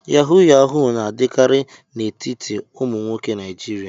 Yahoo yahoo na-adịkarị n'etiti ụmụ nwoke Naijiria.